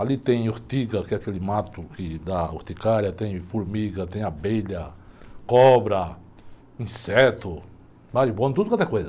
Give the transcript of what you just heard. Ali tem urtiga, que é aquele mato que dá urticária, tem formiga, tem abelha, cobra, inseto, marimbondo, tudo quanto é coisa.